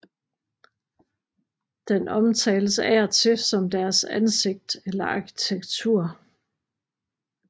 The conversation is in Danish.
Den omtales af og til som deres ansigt eller arkitektur